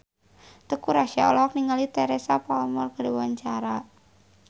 Teuku Rassya olohok ningali Teresa Palmer keur diwawancara